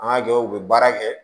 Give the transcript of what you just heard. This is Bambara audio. An ka jɔw bɛ baara kɛ